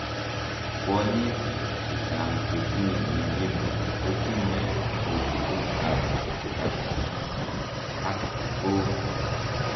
Kwonyiik chechang chetinye mionitok kotinyee etuneet ap kapsigisio ak koo